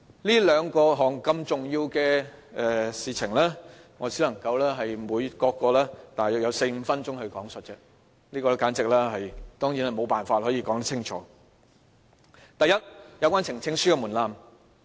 這兩項如此重要的事情，我只能各項用約4至5分鐘來論述而已，當然是無法說清楚。第一，有關呈請書的門檻。